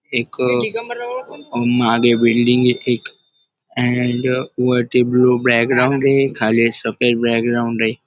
एक अह महादेव बिल्डिंग ये एक अँड वरती ब्लू बॅकग्राऊंड ये खाली पांढरा बॅकग्राऊंड ये.